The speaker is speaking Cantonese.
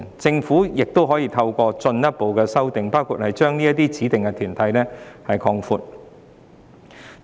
政府可以透過進一步修訂法例，包括擴闊指明團體的範圍。